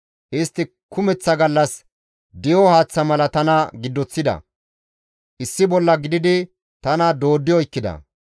Istti kumeththa gallas di7o haaththa mala tana giddoththida; issi bolla gididi tana dooddi oykkida.